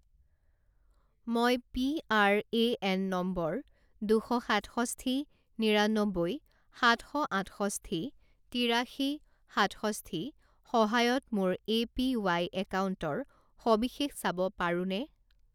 মই PRAN number দুশ সাতষষ্ঠি নিৰান্নব্বৈ সাত শ আঠষষ্ঠি তিৰাশী সাতষষ্ঠি সহায়ত মোৰ এপিৱাই একাউণ্টৰ সবিশেষ চাব পাৰোঁনে?